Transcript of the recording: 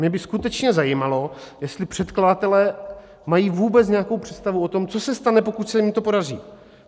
Mě by skutečně zajímalo, jestli předkladatelé mají vůbec nějakou představu o tom, co se stane, pokud se jim to podaří.